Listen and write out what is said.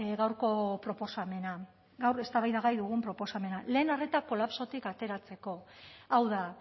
gaurko proposamena gaur eztabaidagai dugun proposamena lehen arreta kolapsotik ateratzeko hau da